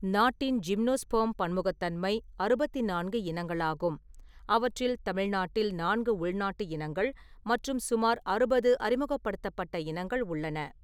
நாட்டின் ஜிம்னோஸ்பெர்ம் பன்முகத்தன்மை அறுபத்தி நான்கு இனங்களாகும், அவற்றில் தமிழ்நாட்டில் நான்கு உள்நாட்டு இனங்கள் மற்றும் சுமார் அறுபது அறிமுகப்படுத்தப்பட்ட இனங்கள் உள்ளன.